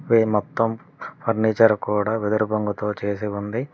ఈ మొత్తం ఫర్నిచర్ కూడా వెదురుబొమ్మతో చేసి ఉంది.